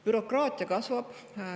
Bürokraatia kasvab.